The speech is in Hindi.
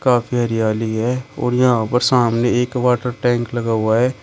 काफी हरियाली है और यहां पर सामने एक वाटर टैंक लगा हुआ है।